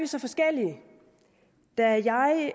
så forskellige da jeg